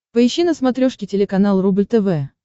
поищи на смотрешке телеканал рубль тв